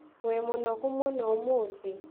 Wĩ mũnogu mũno ũmũthĩ?